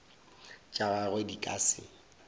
tša gagwe di ka se